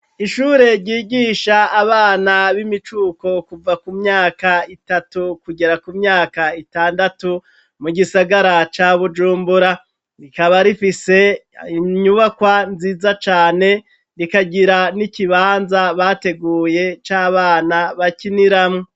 Ishure ryigisha abana b'imicuko kuva ku myaka itatu kugera ku myaka itandatu mu gisagara ca bujumbura rikaba rifise inyubakwa nziza cane rikagira n'ikibanza bateguye c'abana bakiniramwo.